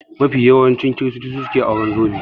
Mafi yawan kiristoci su suke auren zobe